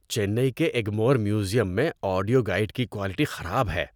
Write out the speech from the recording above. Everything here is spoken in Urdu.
چنئی کے ایگمور میوزیم میں آڈیو گائیڈ کی کوالٹی خراب ہے۔